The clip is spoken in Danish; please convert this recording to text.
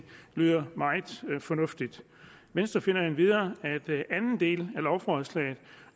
lyder meget fornuftigt venstre finder endvidere at anden del af lovforslaget